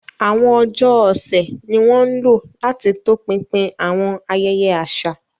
Àwọn ọjọ́ ọ̀sẹ̀ ni wọ́n ń lò láti tọpinpin àwọn ayẹyẹ àṣà.